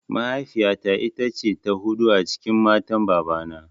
Mahaifiya ta ita ce ta huɗu a cikin matan baba na